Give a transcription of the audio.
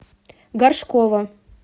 горшкова